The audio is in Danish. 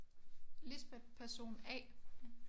Lisbeth person A